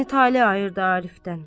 Bəni tale ayırdı Arifdən.